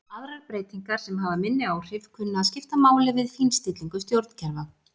Aðrar breytingar sem hafa minni áhrif kunna að skipta máli við fínstillingu stjórnkerfa.